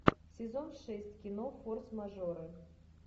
сезон шесть кино форс мажоры